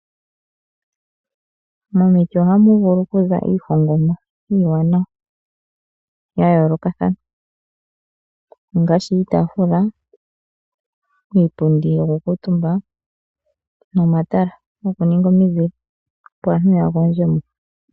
Momiti oha mu vulu oku za iihongomwa oyindji, iiwanawa noya yoolokathana. Ngaashi: iitaafula, iipundi yoku kala omutumba, nomatala goku ninga omizile, opo aantu ya gondje mo.